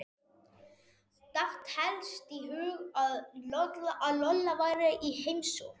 Datt helst í hug að Lolla væri í heimsókn.